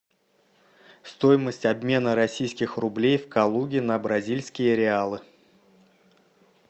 стоимость обмена российских рублей в калуге на бразильские реалы